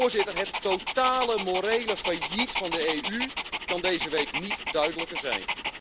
Voorzitter, het totale morele failliet van de EU kan deze week niet duidelijker zijn.